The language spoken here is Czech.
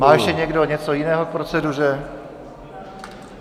Má ještě někdo něco jiného k proceduře?